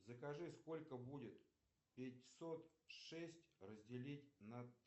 закажи сколько будет пятьсот шесть разделить на